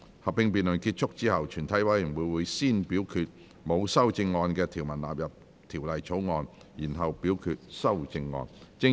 合併辯論結束後，全體委員會會先表決沒有修正案的條文納入《條例草案》，然後表決修正案。